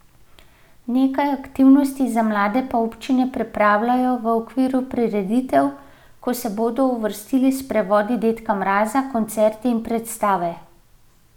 Nekaj aktivnosti za mlade pa občine pripravljajo v okviru prireditev, ko se bodo vrstili sprevodi dedka Mraza, koncerti in predstave.